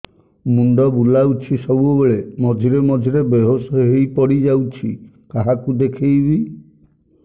ମୁଣ୍ଡ ବୁଲାଉଛି ସବୁବେଳେ ମଝିରେ ମଝିରେ ବେହୋସ ହେଇ ପଡିଯାଉଛି କାହାକୁ ଦେଖେଇବି